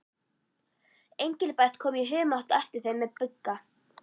Engilbert kom í humátt á eftir þeim með Bigga.